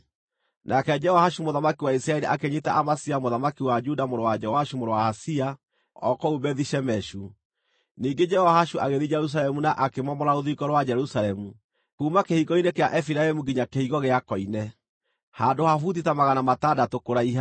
Nake Jehoashu mũthamaki wa Isiraeli akĩnyiita Amazia mũthamaki wa Juda mũrũ wa Joashu mũrũ wa Ahazia, o kũu Bethi-Shemeshu. Ningĩ Jehoashu agĩthiĩ Jerusalemu na akĩmomora rũthingo rwa Jerusalemu, kuuma Kĩhingo-inĩ kĩa Efiraimu nginya Kĩhingo gĩa Koine, handũ ha buti ta magana matandatũ kũraiha.